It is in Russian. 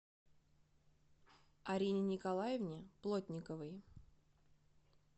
арине николаевне плотниковой